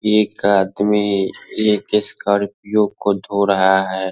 एक आदमी एक स्कोर्पियो को धो रहा है।